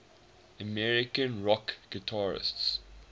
american rock guitarists